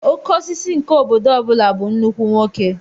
Okeosisi nke obodo ọbula bụ nnukwu nwoke